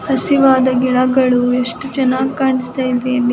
ಹಸಿವಾದ ಗಿಡಗಳು ಎಷ್ಟು ಚೆನ್ನಾಗಿ ಕಾಣಸ್ತ ಇದೆ ಅಲ್ಲಿ .